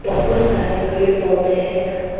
बहुत सारे पेड़ पौधे हैं औ --